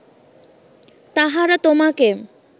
তাহারা তোমাকে